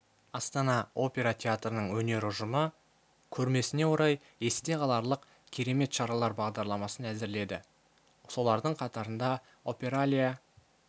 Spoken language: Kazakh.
астана опера театрының өнер ұжымы көрмесіне орай есте қаларлық керемет шаралар бағдарламасын әзірледі солардың қатарында опералия